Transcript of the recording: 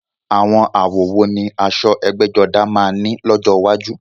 Àwọn àwọ̀ wo ni aṣọ ẹgbẹ́jọdá máa ní lọ́jọ́ iwájú?